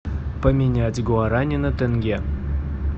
поменять гуарани на тенге